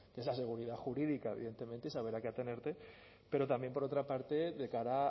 que es la seguridad jurídica evidentemente y saber a qué atenerte pero también por otra parte de cara